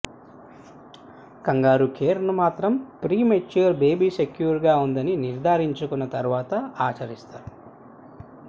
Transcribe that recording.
kangaroo care ను మాత్రం premature baby secure గా ఉందని నిర్దారించుకున్న తరువాత ఆచరిస్తారు